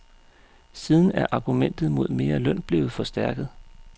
Siden er argumentet mod mere løn blevet forstærket.